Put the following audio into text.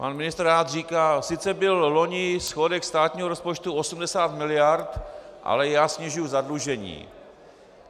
Pan ministr rád říká "sice byl loni schodek státního rozpočtu 80 miliard, ale já snižuji zadlužení".